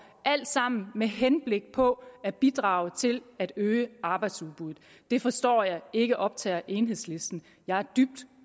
alt sammen med henblik på at bidrage til at øge arbejdsudbuddet det forstår jeg ikke optager enhedslisten jeg er dybt